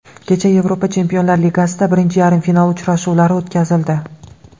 Kecha Yevropa Chempionlar ligasida birinchi yarim final uchrashuvlari o‘tkazildi.